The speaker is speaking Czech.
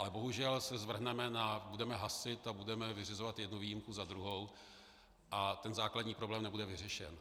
Ale bohužel se zvrhneme na... budeme hasit a budeme vyřizovat jednu výjimku za druhou a ten základní problém nebude vyřešen.